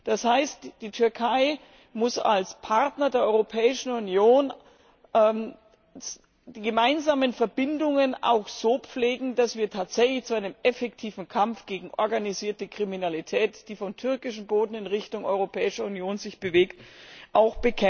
Das heißt, die Türkei muss als Partner der Europäischen Union die gemeinsamen Verbindungen auch so pflegen, dass wir tatsächlich zu einem effektiven Kampf gegen organisierte Kriminalität, die sich von türkischem Boden in Richtung Europäischer Union bewegt, kommen können.